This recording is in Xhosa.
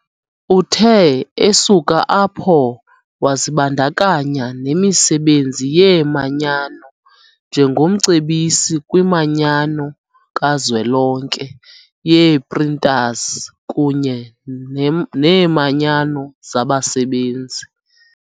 Uthe esuka apho wazibandakanya nemisebenzi yeemanyano njengomcebisi kwiManyano kaZwelonke yee-Printers kunye neeManyano zabasebenzi.